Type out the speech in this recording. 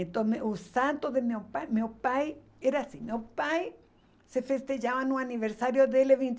Então me o santo do meu pai, meu pai era assim, meu pai se festejava no aniversário dele, vinte e